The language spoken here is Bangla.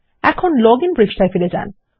এখন লজিন পৃষ্ঠায় ফিরে যান